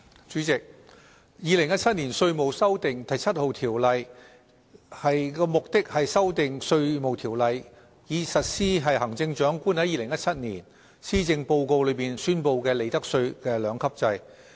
主席，《2017年稅務條例草案》的目的是修訂《稅務條例》，以實施行政長官在2017年施政報告中所宣布的利得稅兩級制。